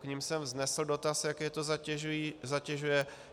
K nim jsem vznesl dotaz, jak je to zatěžuje.